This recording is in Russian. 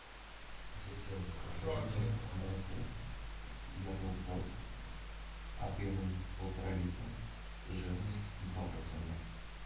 ассистент закажи мне молоко ярмолпрод объемом полтора литра жирность два процента